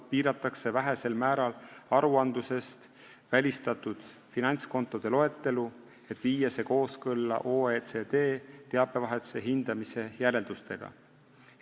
Piiratakse vähesel määral aruandlusest välistatud finantskontode loetelu, et viia see kooskõlla OECD teabevahetuse hindamise järeldustega.